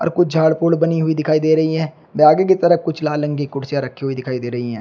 और कुछ झाड़ फूड़ बनी हुई दिखाई दे रही हैं व आगे की तरह कुछ लाल रंग की कुर्सियां रखी हुई दिखाई दे रही हैं।